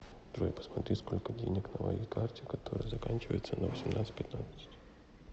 джой посмотри сколько денег на моей карте которая заканчивается на восемнадцать пятнадцать